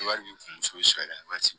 Wari b'i kun muso sari waati